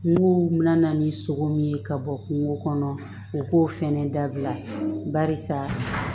Kungow bɛna na ni sogo min ye ka bɔ kungo kɔnɔ u k'o fɛnɛ dabila barisa